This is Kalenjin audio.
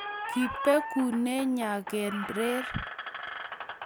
Kibegune nyakan rer